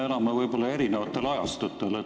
Mulle tundub, et me elame eri ajastutel.